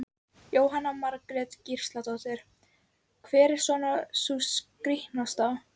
Jóhanna Margrét Gísladóttir: Hver er svona sú skrítnasta?